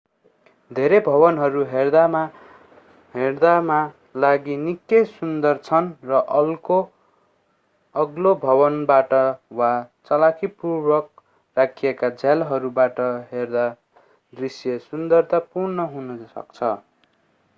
धेरै भवनहरू हेर्दामा लागि निकै सुन्दर छन् र अग्लो भवनबाट वा चलाखीपूर्वक राखिएका झ्यालहरूबाट हेर्दा दृश्य सुन्दरतापूर्ण हुन सक्छ